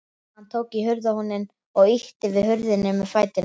Hann tók í hurðarhúninn og ýtti við hurðinni með fætinum.